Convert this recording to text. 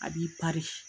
A b'i